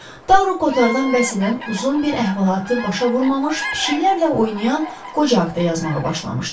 Taro Kotardan bəhs edən uzun bir əhvalatı başa vurmamış, pişiklərlə oynayan qoca haqqında yazmağa başlamışdı.